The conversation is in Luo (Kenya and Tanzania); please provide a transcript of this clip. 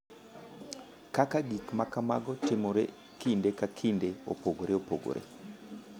Kaka gik ma kamago timore kinde ka kinde opogore opogore.